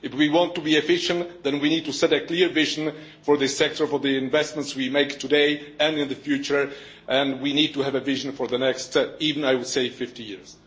If we want to be efficient, then we need to set a clear vision for this sector, for the investments we make today and in the future. We need to have a vision for the next, even I would say, 50 years.